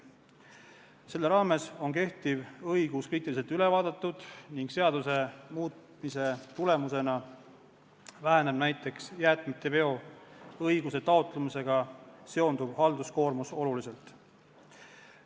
Selle raames on kehtiv õigus kriitiliselt üle vaadatud ning seaduse muutmise tulemusena väheneb näiteks jäätmeveoõiguse taotlemisega seonduv halduskoormus oluliselt.